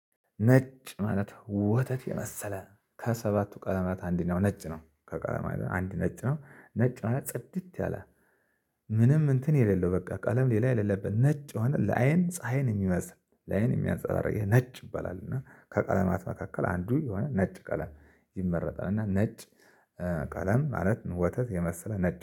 ነጭ ማለት ወተት የመሰለ ከሰባቱ ቀለማት አንደኛው ነጭ ነው ከቀለማት አንድ ነጭ ነው ነጭ ማለት ጽድት ያለ ምንም እንትን የሌለው በቃ ቀለም ሌላ የሌለበት ነጭ የሆነ ለአይን ፀሀይን የሚመስል ላይን የሚያንፀባርቅ ነጭ ይባላል። እና ከቀለማት መካከል አንዱ የሆነ ነጭ ቀለም ይመረጣል። እና ነጭ ቀለም ማለት ወተት የመሰለ ነጭ